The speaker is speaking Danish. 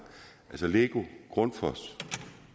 altså lego grundfos